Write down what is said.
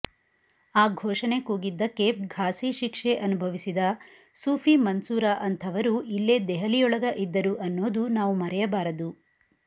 ಆ ಘೋಷಣೆ ಕೂಗಿದ್ದಕ್ಕೆ ಫಾಸಿ ಶಿಕ್ಷೆ ಅನುಭವಿಸಿದ ಸೂಫಿ ಮನ್ಸೂರ ಅಂಥವರೂ ಇಲ್ಲೇ ದೆಹಲಿಯೊಳಗ ಇದ್ದರು ಅನ್ನೋದು ನಾವು ಮರೆಯಬಾರದು